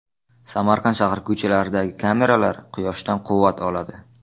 Samarqand shahri ko‘chalaridagi kameralar quyoshdan quvvat oladi.